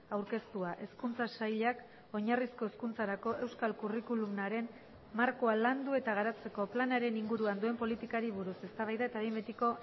aurkeztua hezkuntza sailak oinarrizko hezkuntzarako euskal curriculumaren markoa landu eta garatzeko planaren inguruan duen politikari buruz eztabaida eta behin betiko